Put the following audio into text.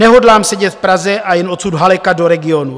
Nehodlám sedět v Praze a jen odsud halekat do regionů.